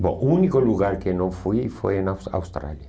Bom, o único lugar que eu não fui foi na Aus Austrália.